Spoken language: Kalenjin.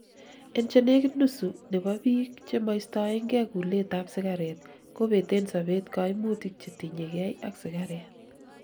en chenegit nusu nebo biik chemoistoengei kulet ab sigaret kobeten sobet koimutik chetinyegei ak sigaret